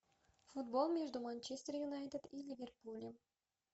футбол между манчестер юнайтед и ливерпулем